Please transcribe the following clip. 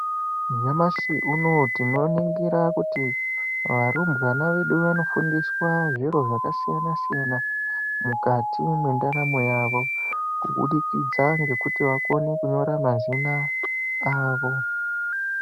Nyamashi unowu tinoningira kuti arumbwana vedu vanofundiswa zviro zvakasiyana siyana. Mukati mwendaramo yavo kubudikidza kuti vakone kunyora mazina avo.